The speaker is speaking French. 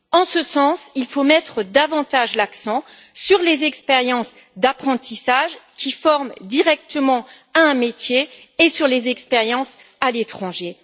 En ce sens, il faut mettre davantage l'accent sur les expériences d'apprentissage qui forment directement à un métier et sur les expériences à l'étranger.